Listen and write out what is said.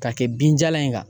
K'a kɛ binjalan in kan.